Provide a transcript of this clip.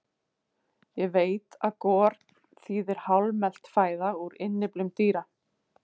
Ég veit að gor þýðir hálfmelt fæða úr innyflum dýra.